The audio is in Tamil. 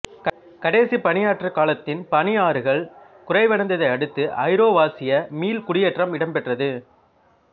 கடைசிப் பனியாற்றுக் காலத்தின் பனியாறுகள் குறைவடைந்ததை அடுத்து ஐரோவாசியா மீள்குடியேற்றம் இடம்பெற்றது